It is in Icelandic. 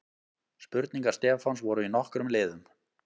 Spurningar Stefáns voru í nokkrum liðum.